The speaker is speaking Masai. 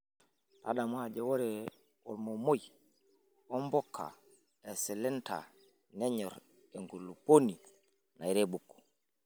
Tadamu ajo ore ormomoi ombukaa eslender nenyor enkupuoni nairebuk.